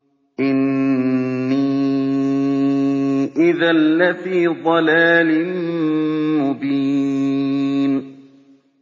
إِنِّي إِذًا لَّفِي ضَلَالٍ مُّبِينٍ